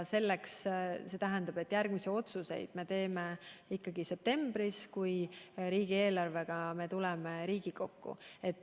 See tähendab, et järgmisi otsuseid me teeme septembris, kui tuleme riigieelarvega Riigikokku.